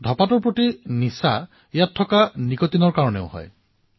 ধঁপাতৰ নিচা তাত থকা নিকোটিনৰ ফলত হয়